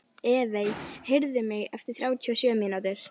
Evey, heyrðu í mér eftir þrjátíu og sjö mínútur.